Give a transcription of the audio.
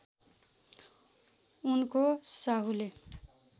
उनको साहुले